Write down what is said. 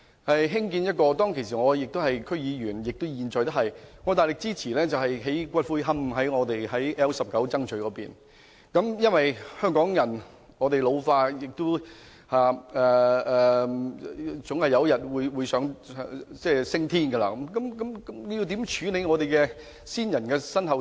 我現在還是屯門區議會議員，當時我大力支持在屯門 L19 區曾咀興建骨灰龕場，因為香港人口老化，人總有日會升天，應如何處理先人的身後事？